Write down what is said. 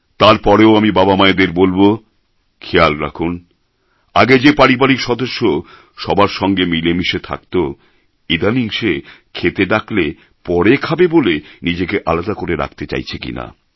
তারপরেও আমি বাবা মায়েদের বলব খেয়াল রাখুন আগে যে পারিবারিক সদস্য সবার সঙ্গে মিলে মিশে থাকতো ইদানিং সে খেতে ডাকলে পরে খাবে বলে নিজেকে আলাদা করে রাখতে চাইছে কিনা